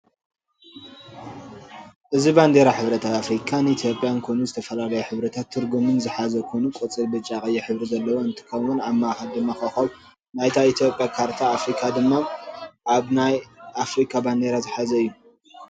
እዚ ባንዴራ ሕብረት አፍሪካን ኢትዮጵያን ኮይኑ ዝተፈላለዩ ሕብርታትን ትርጉምን ዝሐዘ ኮይኑ ቆፃል፣ ብጫ፣ ቀይሕ ሕብሪ ዘለዎ እንትኸውን አብ ማእኸል ድማ ኮኸብ አብ ናይ ኢትዮጵያ ካርታ አፍሪካ ድማ አብ ናይ አፈሪካ ባንዴራ ዝሐዘ እዩ።